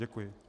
Děkuji.